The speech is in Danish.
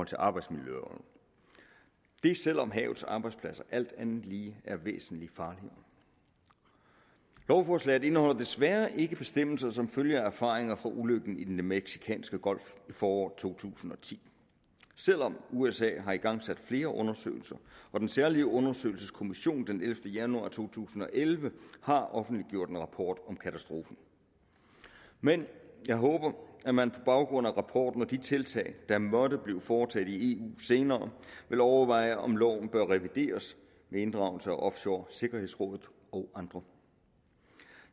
til arbejdsmiljøloven det er selv om havets arbejdspladser alt andet lige er væsentlig farligere lovforslaget indeholder desværre ikke bestemmelser som følger af erfaringer fra ulykken i den mexicanske golf i foråret to tusind og ti selv om usa har igangsat flere undersøgelser og den særlige undersøgelseskommission den ellevte januar to tusind og elleve offentliggjorde en rapport om katastrofen men jeg håber at man på baggrund af rapporten og de tiltag der måtte blive foretaget i eu senere vil overveje om loven bør revideres med inddragelse af offshoresikkerhedsrådet og andre